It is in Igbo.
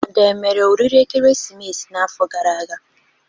Ada omere oriri ekeresimesi n'afọ gara aga?